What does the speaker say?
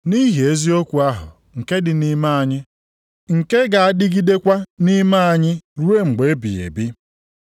Nʼihi eziokwu ahụ nke dị nʼime anyị, nke ga-adịgidekwa nʼime anyị ruo mgbe ebighị ebi: